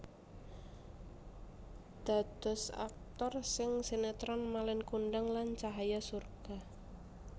Dados aktor ing sinetron Malin Kundang lan Cahaya Surga